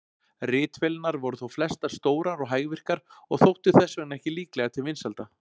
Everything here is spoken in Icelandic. Ritvélarnar voru þó flestar stórar og hægvirkar og þóttu þess vegna ekki líklegar til vinsælda.